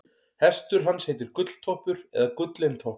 hestur hans heitir gulltoppur eða gullintoppur